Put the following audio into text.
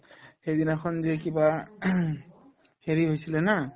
সেইদিনাখন যে কিবা হেৰি হৈছিলে না